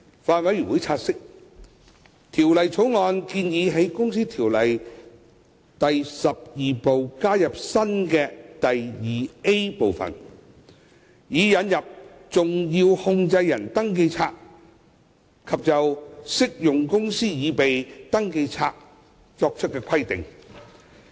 法案委員會察悉，《條例草案》建議在《公司條例》第12部加入新的第 2A 分部，以引入登記冊及就適用公司擬備登記冊作出規定。